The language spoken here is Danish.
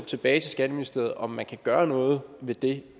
tilbage til skatteministeriet og man kan gøre noget ved det